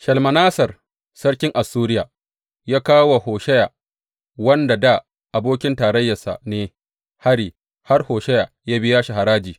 Shalmaneser sarkin Assuriya ya kawo wa Hosheya wanda dā abokin tarayyarsa ne, hari har Hosheya ya biya shi haraji.